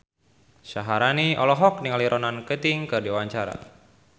Syaharani olohok ningali Ronan Keating keur diwawancara